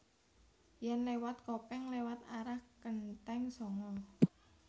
Yen lewat Kopeng lewat arah Kenteng Sanga